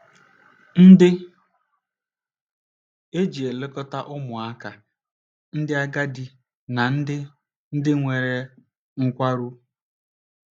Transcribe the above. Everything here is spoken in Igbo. ndị e ji elekọta ụmụaka, ndị agadi na ndị ndị nwere nkwarụ